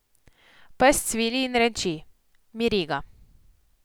Pes cvili in renči, miri ga.